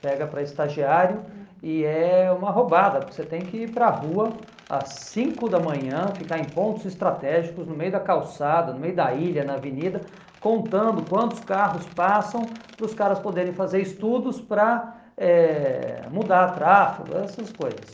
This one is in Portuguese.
Pega para estagiário e é uma roubada, porque você tem que ir para a rua às cinco da manhã, ficar em pontos estratégicos, no meio da calçada, no meio da ilha, na avenida, contando quantos carros passam para os caras poderem fazer estudos para eh mudar tráfego, essas coisas.